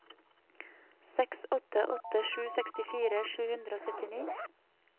seks åtte åtte sju sekstifire sju hundre og syttini